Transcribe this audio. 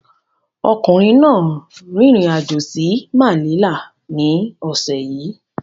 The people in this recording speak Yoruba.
Ọkùnrin náà trvalled sí Manila ní ọ̀sẹ̀ yìí